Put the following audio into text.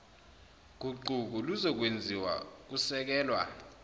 guquko luzokwenziwa kusekelwa